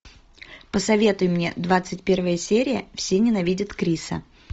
посоветуй мне двадцать первая серия все ненавидят криса